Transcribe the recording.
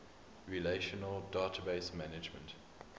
relational database management